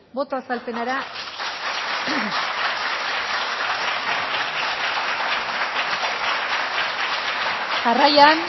boto azalpenera jarraian